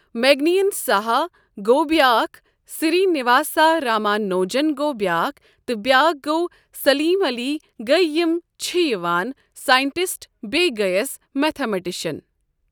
مگنین سہا گوٚو بیٛاکھ سری نِواسا راما نوجن گوٚو بیٛاکھ تہٕ بیٛاکھ گوٚو سلیٖم علی گٔیہ یم چھ یوان ساینٹِسٹ بیٚیہِ گٔیَس میتھا مٹشن۔